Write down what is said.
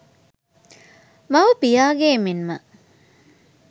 මව, පියාගේ මෙන්ම